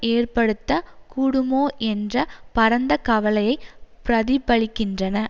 ஏற்படுத்த கூடுமோ என்ற பரந்த கவலையை பிரதிபலிக்கின்றன